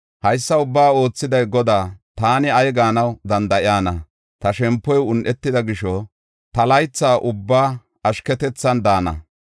Haysa ubbaa oothiday Godaa; taani ay gaanaw danda7iyana? Ta shempoy un7etida gisho, ta laytha ubbaa ashketethan daana.